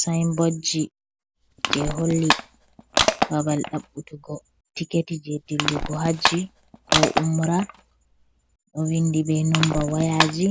Sayinbodji, je holli babal ɗaɓutugo tiketi je dillugo hajji ko umra, ɗo vindi be nomba wayaji